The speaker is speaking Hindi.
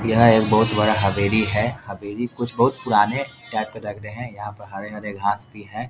यह एक बहुत बड़ा हवेली है हवेली कुछ बहुत पुराने टाइप का लग रहे हैं यहाँ पर हरे-हरे घास भी हैं।